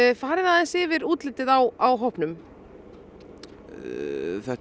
farið aðeins yfir útlitið á á hópnum þetta er